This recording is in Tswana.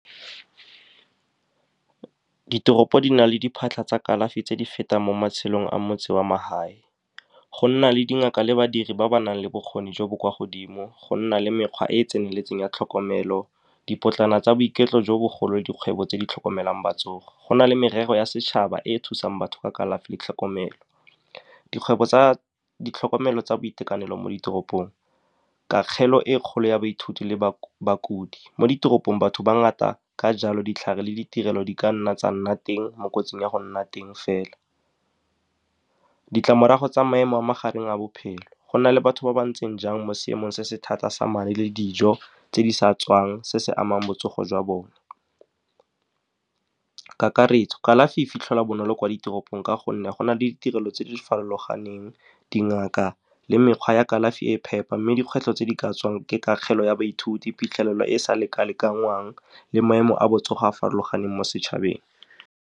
Ditoropo di na le diphatlha tsa kalafi tse di fetang mo matshelong a motse wa magae. Go nna le dingaka le badiri ba ba nang le bokgoni jo bo kwa godimo, go nna le mekgwa e e tseneletseng ya tlhokomelo, dipotlana tsa boiketlo jo bogolo. Dikgwebo tse di tlhokomelang , go na le merero ya setšhaba e e thusang batho ka kalafi le tlhokomelo. Dikgwebo tsa ditlhokomelo tsa boitekanelo mo ditoropong, kagelo e kgolo ya baithuti le bakudi mo ditoropong, batho ba ngata. Ka jalo, ditlhare le ditirelo di ka nna tsa nna teng mo kotsing ya go nna teng fela. Ditlamorago tsa maemo a magareng a bophelo, gona le batho ba ba ntseng jang mo seemong se se thata sa le dijo tse di sa tswang, se se amang botsogo jwa bone. Kakaretso, kalafi e fitlhelwa bonolo kwa ditoropong ka gonne go na le ditirelo tse di farologaneng, dingaka le mekgwa ya kalafi e e phepa. Mme dikgwetlho tse di ka tswang ke kagelo ya baithuti, phitlhelelo e e sa leka-lekangwang le maemo a botsogo a a farologaneng mo setšhabeng.